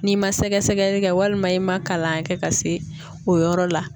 N'i ma sɛgɛsɛgɛli kɛ walima i ma kalan kɛ ka se o yɔrɔ la.